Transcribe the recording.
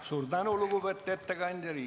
Suur tänu, lugupeetud ettekandja!